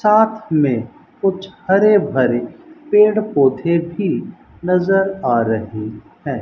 साथ में कुछ हरे भरे पेड़ पौधे भी नजर आ रही है।